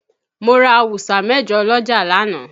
Mo ra awusa mẹ̀jọ lọ́jà lánàá.